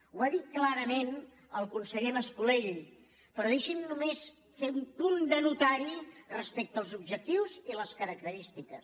ho ha dit clarament el conseller mas·colell però deixi’m només fer un punt de notari respecte als ob·jectius i les característiques